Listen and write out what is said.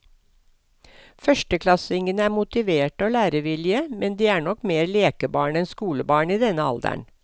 Førsteklassingene er motiverte og lærevillige, men de er nok mer lekebarn enn skolebarn i denne alderen.